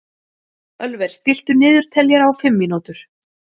Ölver, stilltu niðurteljara á fimm mínútur.